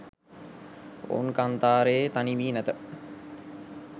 ඔවුන් කාන්තාරයේ තනි වී නැත